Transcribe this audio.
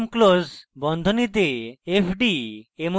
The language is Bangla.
mclose বন্ধনীতে fd: